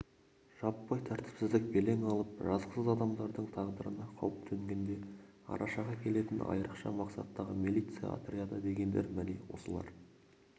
жаппай тәртіпсіздік белең алып жазықсыз адамдардың тағдырына қауіп төнгенде арашаға келетін айырықша мақсаттағы милиция отряды дегендер міне осылар